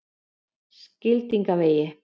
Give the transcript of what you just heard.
Skildingavegi